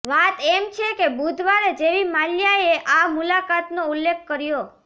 વાત એમ છે કે બુધવારે જેવી માલ્યાએ આ મુલાકાતનો ઉલ્લેખ કર્યો